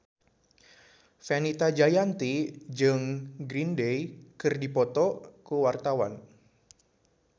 Fenita Jayanti jeung Green Day keur dipoto ku wartawan